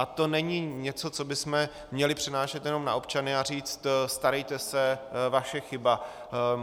A to není něco, co bychom měli přenášet jenom na občany a říct: starejte se, vaše chyba.